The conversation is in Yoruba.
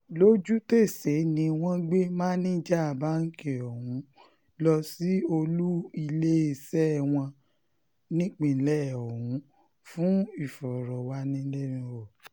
lójútèsè ni wọ́n gbé máníjà báǹkì ọ̀hún lọ sí olú iléeṣẹ́ wọn nípínlẹ̀ ọ̀hún fún ìfọ̀rọ̀wánilẹ́nuwò